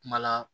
Kuma la